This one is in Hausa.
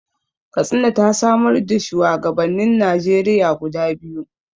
Katsina ta samar da shuwagabannin Najeriya guda biyu.